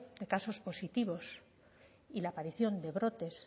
de casos positivos y la aparición de brotes